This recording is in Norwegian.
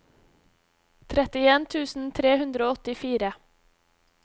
trettien tusen tre hundre og åttifire